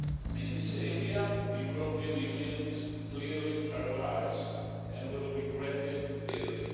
In this area the European Union is clearly paralysed and will regret it dearly.